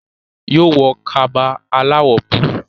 yóò wọ Kaba aláwọ̀ búlúù